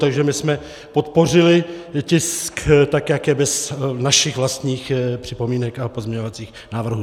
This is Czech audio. Takže my jsme podpořili tisk tak, jak je, bez našich vlastních připomínek a pozměňovacích návrhů.